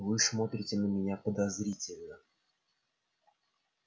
вы смотрите на меня подозрительно